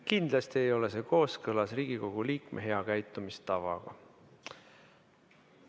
Kindlasti ei ole see kooskõlas Riigikogu liikme hea käitumise tavaga.